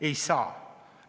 Ei saa!